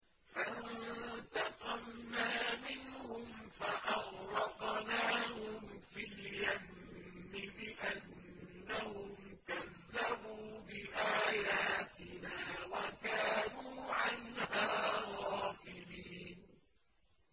فَانتَقَمْنَا مِنْهُمْ فَأَغْرَقْنَاهُمْ فِي الْيَمِّ بِأَنَّهُمْ كَذَّبُوا بِآيَاتِنَا وَكَانُوا عَنْهَا غَافِلِينَ